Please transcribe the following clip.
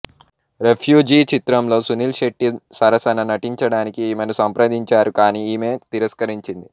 refugee చిత్రంలో సునీల్ శెట్టి సరసన నటించడానికి ఈమెను సంప్రదించారు కానీ ఈమె తిరస్కరించింది